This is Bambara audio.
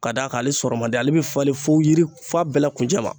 Ka d'a kan ale sɔrɔ man di ale bɛ falen fo yiri fo a bɛɛ la kuncɛ ma